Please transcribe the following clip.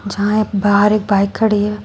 जहां बाहर एक बाइक खड़ी है।